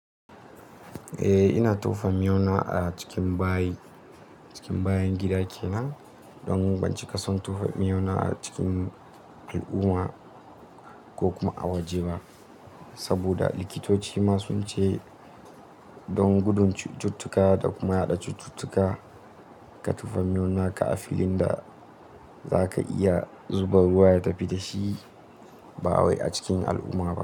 Eh, ina tofa miona a cikin bayi, cikin bayan gidan kenan don ban cika son tofa miyauna a cikin al'umma ko kuma a waje ba. Saboda likitoci masu ce don gudun cututtuka da kuma yaɗa cututtuka ka tofa miyau na ka a filin da za ka iya zuba ruwa ya tafi da shi ba wai a cikin al'umma ba.